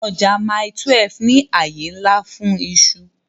Ọjà Mile 12 ní àyè ńlá fún iṣu